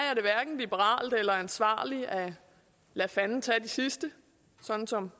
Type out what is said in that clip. hverken liberalt eller ansvarligt at lade fanden tage de sidste sådan som